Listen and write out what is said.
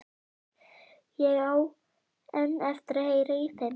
Ég á enn eftir að heyra í þeim.